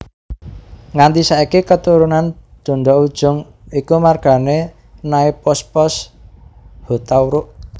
Nganti saiki katurunan Donda Ujung iku margané Naipospos Hutauruk